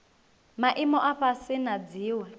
maimo a fhasi na dziwe